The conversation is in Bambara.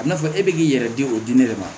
A bɛna fɔ e bɛ k'i yɛrɛ di o dimi de ma